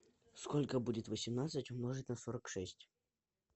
сколько будет восемнадцать умножить на сорок шесть